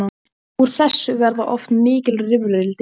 Úr þessu verða oft mikil rifrildi.